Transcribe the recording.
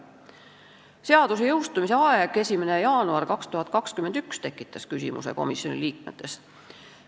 Komisjoni liikmetes tekitas küsimusi seaduse jõustumise aeg, 1. jaanuar 2021.